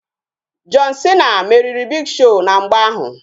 John Cena meriri Big Show na mgba ahụ